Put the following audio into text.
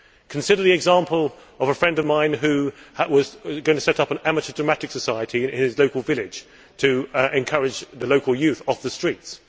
Consider the example of a friend of mine who was going to set up an amateur dramatic society in his local village, to encourage the local youth to come off the streets.